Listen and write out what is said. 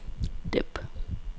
dæmp